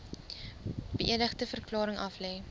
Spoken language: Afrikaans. beëdigde verklaring aflê